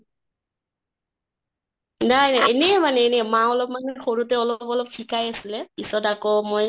নাই নাই এনে মানে এনে মা অলমান সৰুতে অলপ অলপ শিকাই আছিলে, পিছত আকৌ মই